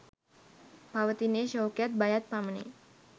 පවතින්නේ ශෝකයත්, බයත් පමණි.